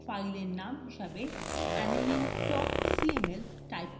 file name হিসাবে aniline cml type করুন